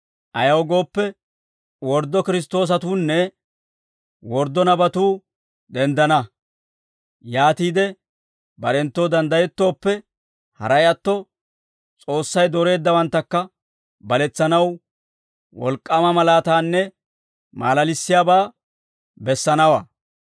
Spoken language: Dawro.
Ayaw gooppe, worddo Kiristtoosatuunne worddo nabatuu denddana; yaatiide barenttoo danddayettooppe, haray atto S'oossay dooreeddawanttakka baletsanaw wolk'k'aama malaataanne maalalissiyaabaa bessanawaa.